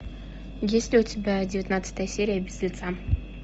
есть ли у тебя девятнадцатая серия без лица